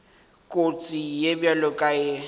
kotsi ye bjalo ka ye